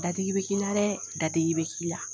Dadigi bɛ k'i la dɛ, dadigi bɛ k'i la.